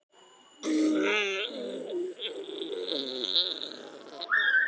Fer maður ekki venjulega klukkan átta?